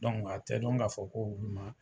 a tɛ dɔn k'a fɔ ko olu ma